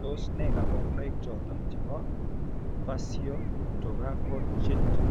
Tos nee kabarunaik choton chebo Facio thoraco genital ?